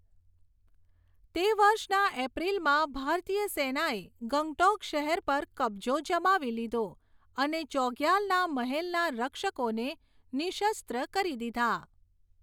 તે વર્ષના એપ્રિલમાં ભારતીય સેનાએ ગંગટોક શહેર પર કબજો જમાવી લીધો અને ચોગ્યાલના મહેલના રક્ષકોને નિઃશસ્ત્ર કરી દીધા.